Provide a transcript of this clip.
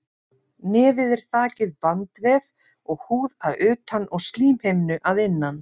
Nefið er þakið bandvef og húð að utan og slímhimnu að innan.